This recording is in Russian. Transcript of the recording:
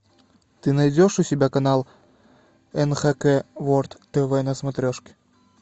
ты найдешь у себя канал нхк ворлд тв на смотрешке